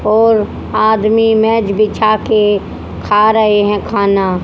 और आदमी मैट बिछा के खा रहे हैं खाना।